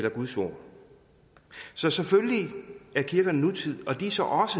og guds ord så selvfølgelig er kirkerne nutid og de er så også